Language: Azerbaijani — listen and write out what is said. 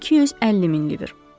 250 min liver.